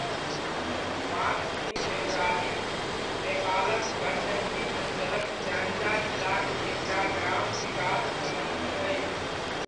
वाङसिङ देउराली, नेपालक गण्डकी अञ्चलक स्याङ्जा जिलाक एकटा ग्राम विकास समिति अछि।